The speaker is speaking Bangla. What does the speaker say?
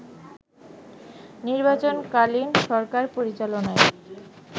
নির্বাচনকালীন সরকার পরিচালনায়